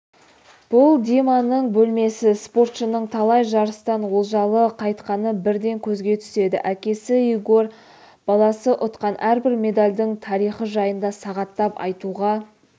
бұл диманың бөлмесі спортшының талай жарыстан олжалы қайтқаны бірден көзге түседі әкесі игорь баласы ұтқан әрбір медальдің тарихы жайында сағаттап айтуға